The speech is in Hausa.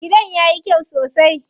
Gidan yayi kyau sosai.